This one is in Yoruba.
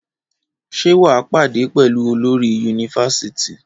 Ṣé wà á pàdé pẹ̀lú olórí yunifasiti?